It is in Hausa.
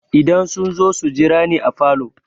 Idan sun zo su jira ni a falo.